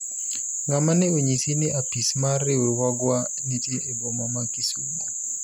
ng'ama ne onyisi ni apis mar riwruogwa nitie e boma ma Kisumo